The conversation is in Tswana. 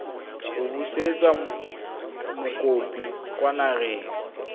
go busetsa mokopi kwa nageng